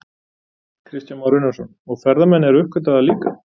Kristján Már Unnarsson: Og ferðamenn eru að uppgötva það líka?